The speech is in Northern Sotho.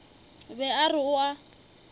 be a re o a